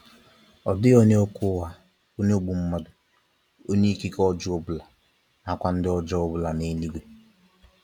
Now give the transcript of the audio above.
ọdighi onye okwu ụgha, onye ogbu mmadụ, onye ikike ọjọọ ọbụla, na kwa ndị ọjọọ ọbụla n'eluigwe.